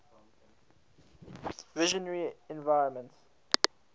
visionary environments